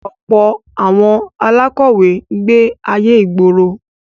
Ọ̀pọ̀ àwọn alákọ̀wé ń gbé ayé ìgboro.